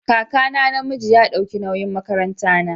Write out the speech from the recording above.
Kakana na miji ya dauki nawyin makaran ta na.